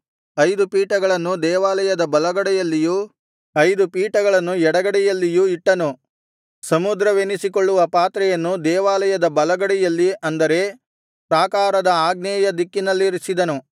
ಐದು ಪೀಠಗಳನ್ನು ದೇವಾಲಯದ ಬಲಗಡೆಯಲ್ಲಿಯೂ ಐದು ಪೀಠಗಳನ್ನು ಎಡಗಡೆಯಲ್ಲಿಯೂ ಇಟ್ಟನು ಸಮುದ್ರವೆನಿಸಿಕೊಳ್ಳುವ ಪಾತ್ರೆಯನ್ನು ದೇವಾಲಯದ ಬಲಗಡೆಯಲ್ಲಿ ಅಂದರೆ ಪ್ರಾಕಾರದ ಆಗ್ನೇಯ ದಿಕ್ಕಿನಲ್ಲಿರಿಸಿದನು